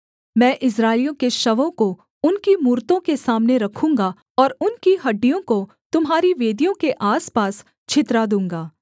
मैं इस्राएलियों के शवों को उनकी मूरतों के सामने रखूँगा और उनकी हड्डियों को तुम्हारी वेदियों के आसपास छितरा दूँगा